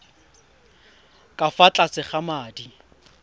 ka fa tlase ga madi